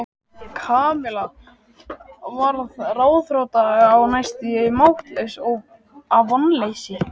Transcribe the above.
Kamilla varð ráðþrota og næstum máttlaus af vonleysi.